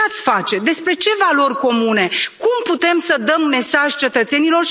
Ce ați face, despre ce valori comune, cum putem să dăm un mesaj cetățenilor?